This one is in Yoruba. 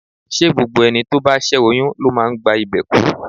Ṣé gbogbo ẹni tó bá ṣé oyún ló máa ń gba ìbè kú?